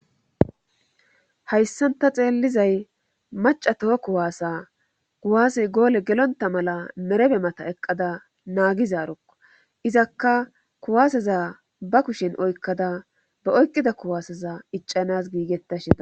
haysan ta xeellizay macca toho kuwasa kuwase goole gelontta mala merebe mata eqqada naagizaarokko;izakka kuwaaseza ba kushen oykkada ba oyqqida kuwaaseza iccanaas giigettashe da.